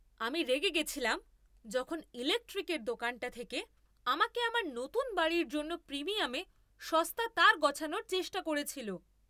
আমি রেগে গেছিলাম যখন ইলেকট্রিকের দোকানটা থেকে আমাকে আমার নতুন বাড়ির জন্য প্রিমিয়ামে সস্তা তার গছানোর চেষ্টা করেছিল।